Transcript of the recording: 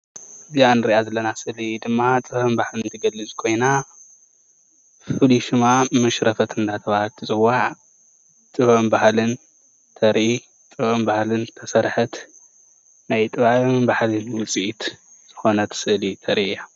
እዚኣ ንሪኣ ዘለና ስእሊ ድማ ጥበብን ባህልን ትገልፅ ኾይና ፍሉይ ሹማ መሽረፈት እንዳተብሃለት ትፅዋዕ ጥበብን ባህልን ተርኢ ጥበብን ባህልን ተሰርሐት ናይ ጥበብን ባህልን ዉፅኢት ዝኮነት ስእሊ ተርኢ እያ።